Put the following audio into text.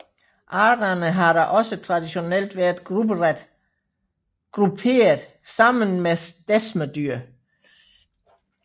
Arterne har da også traditionelt været grupperet sammen med desmerdyr